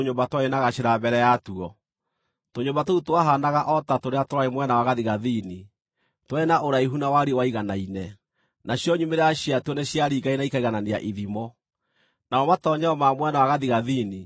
twarĩ na gacĩra mbere yatuo. Tũnyũmba tũu twahaanaga o ta tũrĩa twarĩ mwena wa gathigathini; twarĩ na ũraihu na wariĩ waiganaine, nacio nyumĩrĩra ciatuo nĩciaringaine na ikaiganania ithimo. Namo matoonyero ma mwena wa gathigathini